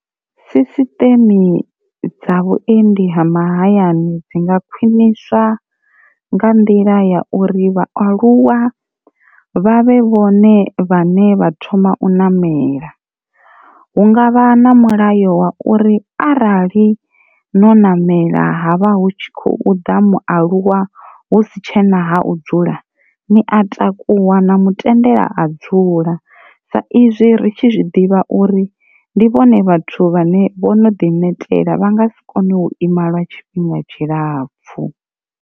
Sisiṱeme dza vhuendi ha mahayani dzi nga khwiniswa nga nḓila ya uri vhaaluwa vha vhe vhone vhaṋe vha thoma u namela, hungavha na mulayo wa uri arali no namela havha hu tshi khou ḓa mualuwa husi tshena ha u dzula ni a takuwa na mutendela a dzula sa izwi ritshi zwiḓivha uri ndi vhone vhathu vhane vho no ḓi netela vha nga si kone u ima lwa tshifhinga tshilapfhu.